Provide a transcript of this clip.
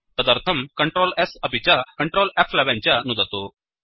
तदर्थं Ctrl S अपि च Ctrl फ्11 च नुदतु